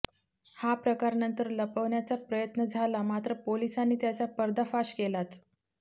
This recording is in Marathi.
हा प्रकार नंतर लपवण्याचा प्रयत्न झाला मात्र पोलिसांनी त्याचा पर्दाफाश केलाच